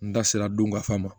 N da sera don kafan ma